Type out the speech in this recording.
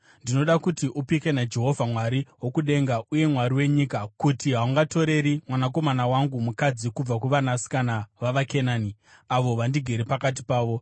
Ndinoda kuti upike naJehovha, Mwari wokudenga uye Mwari wenyika, kuti haungatoreri mwanakomana wangu mukadzi kubva kuvanasikana vavaKenani, avo vandigere pakati pavo,